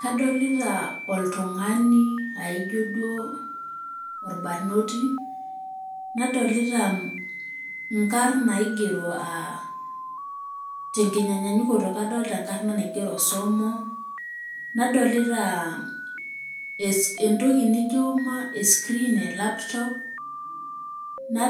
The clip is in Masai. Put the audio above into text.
Kaidim nai nanu atejo ore enampuni e British company naa ninye ainaitobiru kuna tobacco products pookin tanaa osigara tanaa orkumbau naninche distributers na ninche biggest manufacturers odistributers orkumbau